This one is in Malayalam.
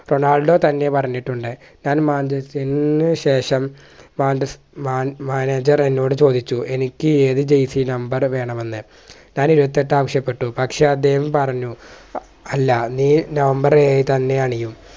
റൊണാൾഡോ തന്നെ പറഞ്ഞിട്ടുണ്ട് താൻ manchester നുശേഷം മാഞ്ച Manager എന്നോട് ചോദിച്ചു എനിക്ക് ഏത് jersey number വേണം എന്ന് ഞാൻ ഇരുപത്തിയെട്ട് ആവശ്യപ്പെട്ടു പക്ഷേ അദ്ദേഹം പറഞ്ഞു അല്ല നീ number ഏഴ് തന്നെ അണിയും